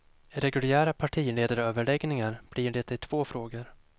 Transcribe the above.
Reguljära partiledaröverläggningar blir det i två frågor.